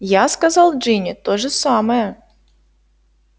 я сказал джинни то же самое